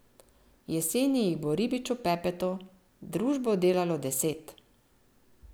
Jeseni jih bo Ribiču Pepetu družbo delalo deset.